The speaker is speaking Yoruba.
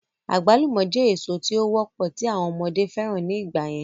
Àgbálùmọ̀ jẹ́ èso tí ó wọ́pọ̀ tí àwọn ọmọdé fẹ́ràn ní ìgbà yẹn